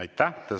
Aitäh!